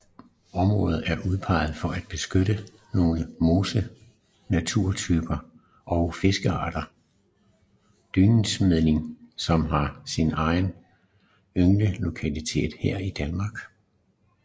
Området er udpeget for at beskytte nogle mosenaturtyper og fiskearten dyndsmerling som har sin eneste ynglelokalitet i Danmark her